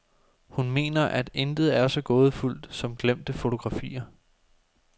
Hun mener, at intet er så gådefuldt som glemte fotografier.